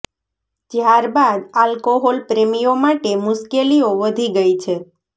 જ્યાર બાદ આલ્કોહોલ પ્રેમીઓ માટે મુશ્કેલીઓ વધી ગઇ છે